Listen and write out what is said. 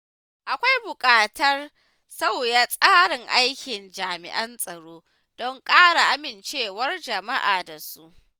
Akwai buƙatar sauya tsarin aikin jami’an tsaro don ƙara amincewar jama’a da su.